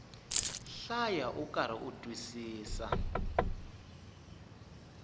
hlaya ukarhi u twisisa